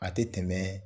A tɛ tɛmɛ